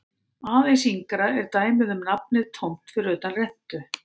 Aðeins yngra er dæmið um nafnið tómt fyrir utan rentu.